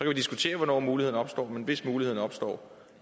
vi diskutere hvornår muligheden opstår men hvis muligheden opstår